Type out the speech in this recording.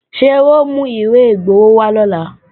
Ṣé wọ́n ó mú ìwé igbowó wá lọ́la